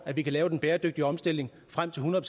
at vi kan lave den bæredygtige omstilling frem til hundrede